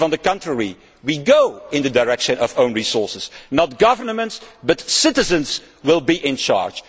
If, on the contrary, we go in the direction of own resources, not governments, but citizens will be in charge.